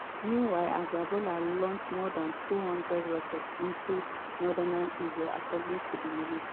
meanwhile hezbollah launch more dan 200 rockets into northern israel according to di military.